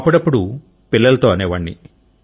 అపుడపుడు పిల్లలతో అనేవాడిని